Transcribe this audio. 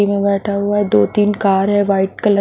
बैठा हुआ दो तीन कार है वाइट कलर --